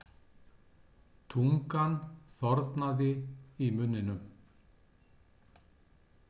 Tungan þornaði í munninum.